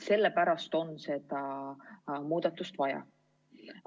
Sellepärast on seda muudatust vaja.